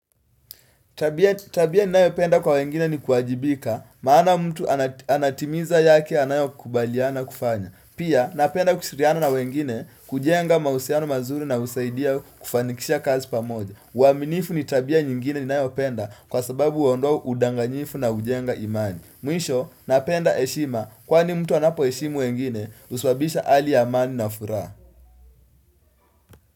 Tabia ni nayo penda kwa wengine ni kuajibika maana mtu anatimiza yake anayo kubaliana kufanya. Pia napenda kushiriana na wengine kujenga mausiano mazuri na usaidia kufanikisha kazi pamoja. Uaminifu ni tabia nyingine ni nayo penda kwa sababu uondoa udanganyifu na ujenga imani. Mwisho napenda eshima kwani mtu anapo eshimu wengine uswabisha ali amani na furaha.